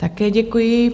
Také děkuji.